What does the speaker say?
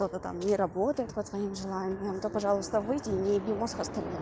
кто-то там не работает по твоим желаниям то пожалуйста выйди и не еби мозг остальным